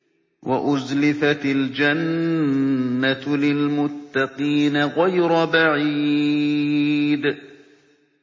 وَأُزْلِفَتِ الْجَنَّةُ لِلْمُتَّقِينَ غَيْرَ بَعِيدٍ